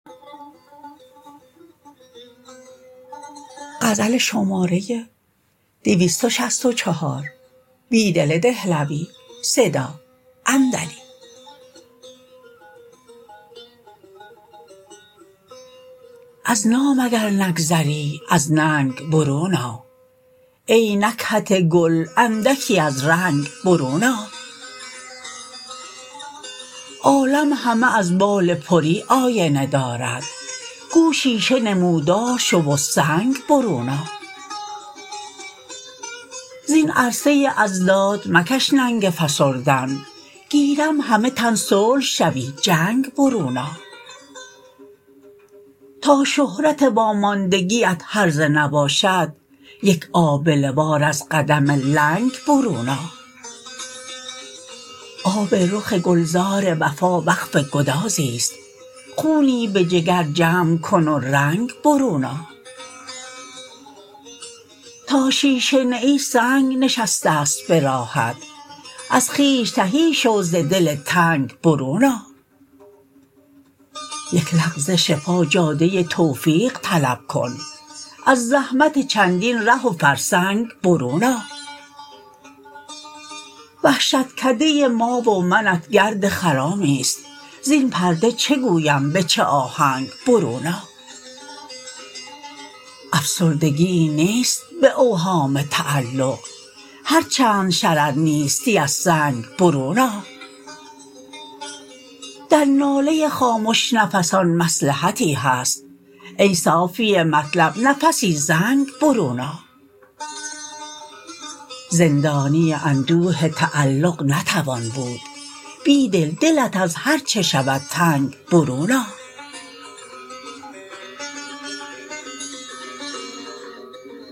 از نام اگر نگذری از ننگ برون آ ای نکهت گل اندکی از رنگ برون آ عالم همه از بال پری آینه دارد گو شیشه نمودار شو و سنگ برون آ زین عرصه اضداد مکش ننگ فسردن گیرم همه تن صلح شوی جنگ برون آ تا شهرت واماندگی ات هرزه نباشد یک آبله وار از قدم لنگ برون آ آب رخ گلزار وفا وقف گدازی ست خونی به جگر جمع کن و رنگ برون آ تا شیشه نه ای سنگ نشسته ست به راهت از خویش تهی شو ز دل تنگ برون آ یک لغزش پا جاده توفیق طلب کن از زحمت چندین ره و فرسنگ برون آ وحشتکده ما و منت گرد خرامی است زین پرده چه گویم به چه آهنگ برون آ افسردگیی نیست به اوهام تعلق هرچند شرر نیستی از سنگ برون آ در ناله خا مش نفسان مصلحتی هست ای صافی مطلب نفسی زنگ برون آ زندانی اندوه تعلق نتوان بود بیدل دلت از هرچه شود تنگ برون آ